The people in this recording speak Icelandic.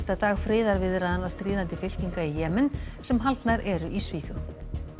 dag friðarviðræðna stríðandi fylkinga í Jemen sem haldnar eru í Svíþjóð